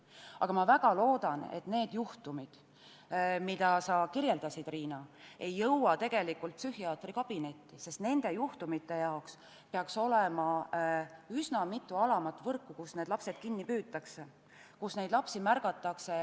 Aga ma väga loodan, et need juhtumid, mida sa kirjeldasid, Riina, ei jõua psühhiaatri kabinetti, sest nende juhtumite jaoks peaks olemas olema üsna mitu alamat võrku, kus need lapsed juba kinni püütakse, neid lapsi märgatakse.